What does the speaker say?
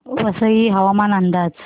वसई हवामान अंदाज